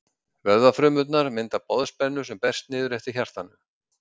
Vöðvafrumurnar mynda boðspennu sem berst niður eftir hjartanu.